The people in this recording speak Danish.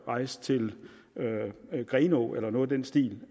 rejse til grenaa eller noget i den stil